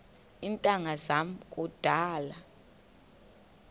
iintanga zam kudala